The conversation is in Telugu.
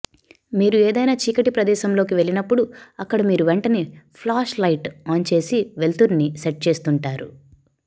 మీరు ఏదైనా చీకటి ప్రదేశంలోకి వెళ్లినప్పుడు అక్కడ మీరు వెంటనే ఫ్లాష్ లైట్ ఆన్ చేసి వెలుతురుని సెట్ చేస్తుంటారు